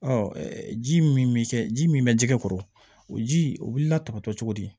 Ɔ ji min bɛ kɛ ji min bɛ jɛgɛ kɔrɔ o ji o wulila tan tɔ cogo di